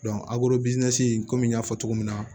komi n y'a fɔ cogo min na